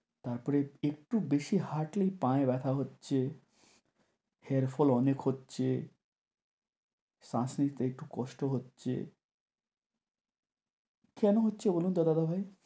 তারপরে একটু বেশি হাঁটলেই পায়ে ব্যথা হচ্ছে, hair fall অনেক হচ্ছে, শ্বাস নিতে একটু কষ্ট হচ্ছে। কেন হচ্ছে বলুন তো দাদা ভাই?